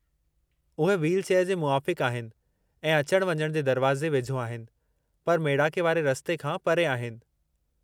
उहे व्हीलचेयर जे मूवाफ़िक़ु आहिनि ऐं अचण वञण जे दरवाज़े वेझो आहिनि, पर मेड़ाके वारे रस्ते खां परे आहिनि।